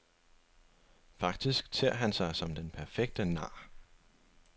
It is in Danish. Faktisk ter han sig som den perfekte nar.